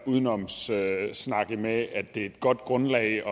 udenomssnak med at det er et godt grundlag at